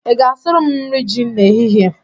Ị ga-asụrụ m nri ji n'ehihie?